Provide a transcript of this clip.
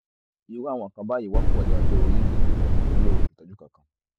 irú àwọn nǹkan báyìí wọ́pọ̀ ní ọjọ́ orí yìí wọn ò sì nílò ìtọ́jú kankan